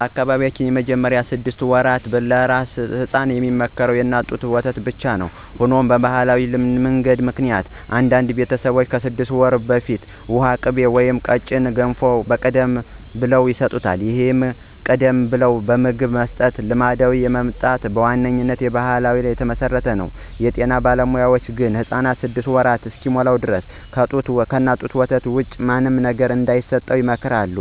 በአካባቢዬ በመጀመሪያዎቹ ስድስት ወራት ለአራስ ሕፃናት የሚመከረው የእናት ጡት ወተት ብቻ ነው። ሆኖም በባሕላዊ ልማድ ምክንያት አንዳንድ ቤተሰቦች ከስድስት ወር በፊት ውሃ፣ ቅቤ ወይም ቀጭን ገንፎ ቀደም ብለው ይሰጣሉ። ይህን ቀደም ብሎ ምግብ የመስጠት ልማድ የመጣው በዋነኛነት በባሕል ላይ ተመስርቶ ነው። የጤና ባለሙያዎች ግን ሕፃኑ ስድስት ወር እስኪሞላው ድረስ ከጡት ወተት ውጪ ምንም አይነት ምግብም ሆነ ውሃ እንዳይሰጥ አጥብቀው ይመክራሉ።